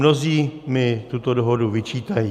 Mnozí mi tuto dohodu vyčítají.